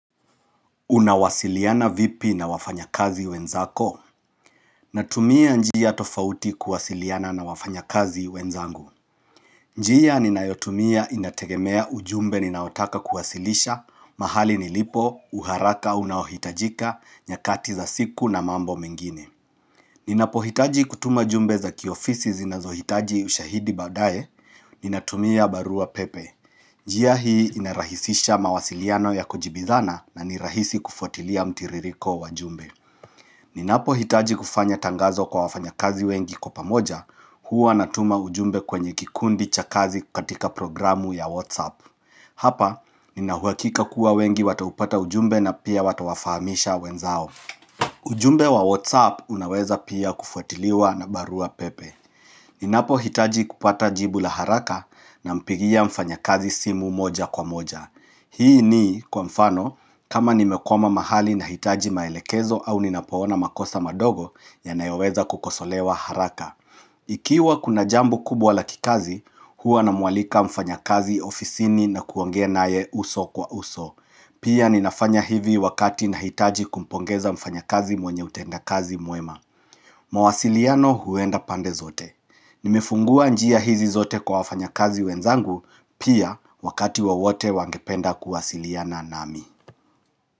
Unawasiliana vipi na wafanya kazi wenzako? Natumia njia tofauti kuwasiliana na wafanya kazi wenzangu. Njia ninayotumia inategemea ujumbe ninaotaka kuwasilisha, mahali nilipo, uharaka unaohitajika, nyakati za siku na mambo mengine. Ninapohitaji kutuma jumbe za kiofisi zinazohitaji ushahidi baadae, ninatumia barua pepe. Njia hii inarahisisha mawasiliano ya kujibizana na ni rahisi kufuatilia mtiririko wa jumbe Ninapo hitaji kufanya tangazo kwa wafanya kazi wengi kwa pamoja, Huwa natuma ujumbe kwenye kikundi cha kazi katika programu ya Whatsapp. Hapa, ninauhakika kuwa wengi wataupata ujumbe na pia watawafahamisha wenzao ujumbe wa Whatsapp unaweza pia kufuatiliwa na barua pepe Ninapohitaji kupata jibu la haraka nampigia mfanyakazi simu moja kwa moja. Hii ni, kwa mfano, kama nimekwama mahali nahitaji maelekezo au ninapoona makosa madogo yanayoweza kukosolewa haraka. Ikiwa kuna jambo kubwa la kikazi, huwa namualika mfanyakazi ofisini na kuongea naye uso kwa uso. Pia ninafanya hivi wakati nahitaji kumpongeza mfanyakazi mwenye utenda kazi mwema. Mawasiliano huenda pandezote. Nimefungua njia hizi zote kwa wafanyakazi wenzangu pia wakati wowote wangependa kuwasiliana nami.